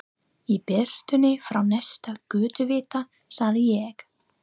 Í birtunni frá næsta götuvita sagði ég